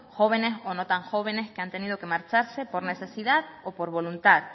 jóvenes o no tan jóvenes que han tenido que marcharse por necesidad o por voluntad